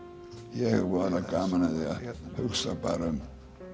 ég hef voðalega gaman af því að hugsa bara um